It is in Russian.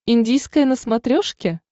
индийское на смотрешке